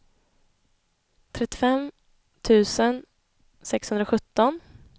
trettiofem tusen sexhundrasjutton